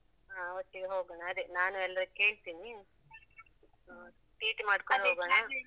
ಹ ಒಟ್ಟಿಗೆ ಹೋಗೋಣ ಅದೇ ನಾನು ಎಲ್ರೀಕ್ಕೇಳ್ತಿನಿ ಹ TT ಮಾಡ್ಕೊಂಡು ಹೋಗೋಣ?